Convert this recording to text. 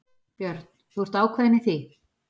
Björn: Þú ert ákveðinn í því?